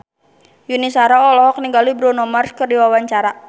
Yuni Shara olohok ningali Bruno Mars keur diwawancara